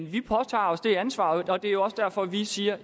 vi påtager os det ansvar og det jo også derfor vi siger